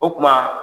O kuma